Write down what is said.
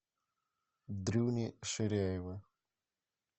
дрюни ширяева